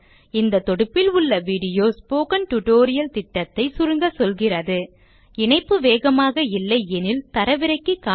இந்த தொடுப்பில் உள்ள வீடியோ ஸ்போக்கன் டியூட்டோரியல் திட்டத்தை சுருங்க சொல்கிறது httpspokentutorialorgWhat is a Spoken Tutorial இணைப்பு வேகமாக இல்லை எனில் தரவிறக்கி காணுங்கள்